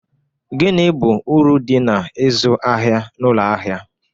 Gini bụ uru dị na ịzụ ahịa n'ụlọ ahịa?